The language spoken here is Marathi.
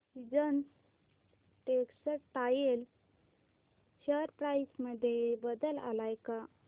सीजन्स टेक्स्टटाइल शेअर प्राइस मध्ये बदल आलाय का